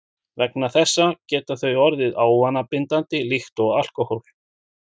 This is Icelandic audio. Vegna þessa geta þau orðið ávanabindandi líkt og alkóhól.